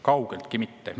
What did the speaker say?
Kaugeltki mitte!